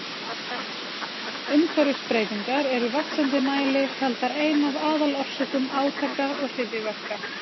Umhverfisbreytingar eru í vaxandi mæli taldar ein af aðalorsökum átaka og hryðjuverka.